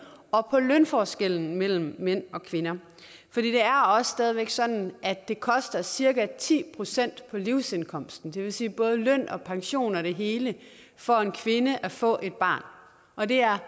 og på lønforskellene mellem mænd og kvinder det er jo også stadig sådan at det koster cirka ti procent på livsindkomsten det vil sige både løn pensioner og det hele for en kvinde at få et barn og det er